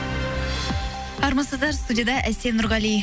армысыздар студияда әсем нұрғали